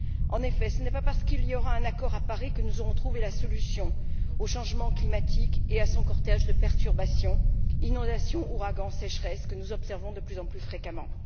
En effet, ce n'est pas parce qu'il y aura un accord à Paris que nous aurons trouvé la solution au changement climatique et à son cortège de perturbations que nous observons de plus en plus fréquemment.